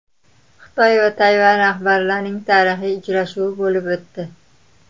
Xitoy va Tayvan rahbarlarining tarixiy uchrashuvi bo‘lib o‘tdi.